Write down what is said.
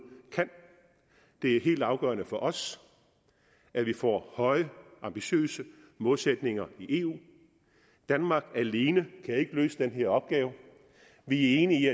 kan det er helt afgørende for os at vi får høje ambitiøse målsætninger i eu danmark alene kan ikke løse den her opgave vi er enige i